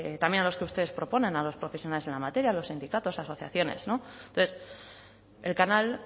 también a los que ustedes proponen a los profesionales en la materia a los sindicatos asociaciones entonces el canal